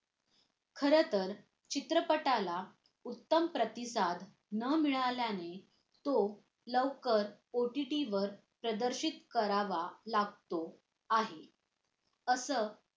खरंतर चित्रपटाला उत्तम प्रतिसाद न मिळाल्याने तो लवकर OTT वर प्रदर्शित करावं लागतो आहे असं